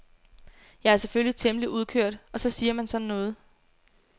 Jeg er selvfølgelig temmelig udkørt og så siger man sådan noget.